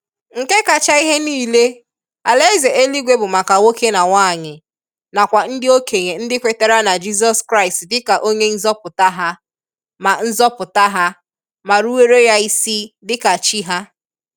Nke kacha ihe niile, alaeze eluigwe bụ maka nwoke na nwaanyị nakwa ndị okenye ndị kwetere na Jizọs Kraịst dịka onye nzọpụta ha ma nzọpụta ha ma ruwere Ya isi dịka Chi ha.